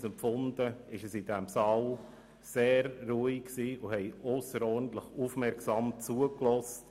Andere – so zumindest meine Empfindung – haben ausserordentlich gut zugehört, sodass es in diesem Saal sehr ruhig war.